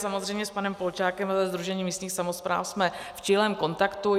Samozřejmě s panem Polčákem ze Sdružení místních samospráv jsme v čilém kontaktu.